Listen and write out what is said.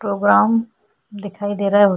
programme दिखाई दे रहा है हो --